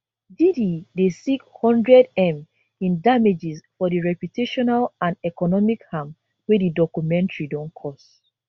diddy dey seek 100m in damages for di reputational and economic harm wey di documentary don cause